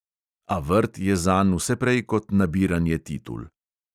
A vrt je zanj vse prej kot nabiranje titul.